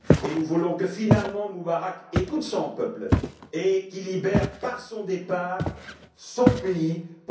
Nous voulons que, finalement, Moubarak écoute son peuple et qu'il libère, par son départ, son pays, pour la démocratie et la liberté aujourd'hui.